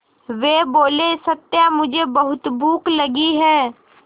वे बोले सत्या मुझे बहुत भूख लगी है